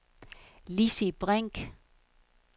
Lissi Brink